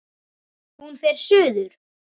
Hún fer suður.